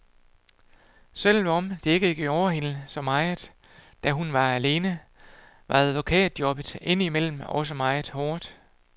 Selvom det ikke gjorde hende så meget, da hun var alene, var advokatjobbet indimellem også meget hårdt.